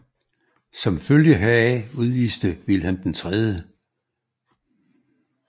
Som følge heraf udviste Vilhelm 3